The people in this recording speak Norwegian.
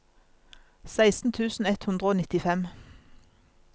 seksten tusen ett hundre og nittifem